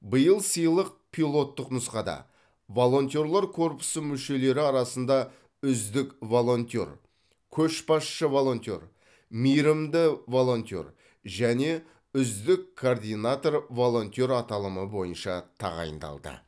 биыл сыйлық пилоттық нұсқада волонтерлар корпусы мүшелері арасында үздік волонтер көшбасшы волонтер мейірімді волонтер және үздік координатор волонтер аталымы бойынша тағайындалды